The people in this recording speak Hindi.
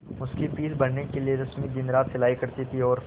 उसकी फीस भरने के लिए रश्मि दिनरात सिलाई करती थी और